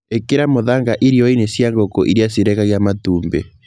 ĩkĩra mũthanga irioi-nĩ cia ngũngũ iria cirekagia matumbĩ.